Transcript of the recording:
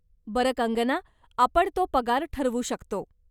बरं कंगना, आपण तो पगार ठरवू शकतो.